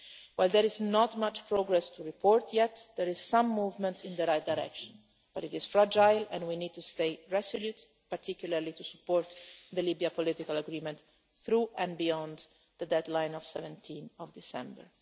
ago. While there is not much progress to report yet, there is some movement in the right direction, but it is fragile and we need to stay resolute, particularly to support the Libyan Political Agreement through and beyond the deadline of 17 December.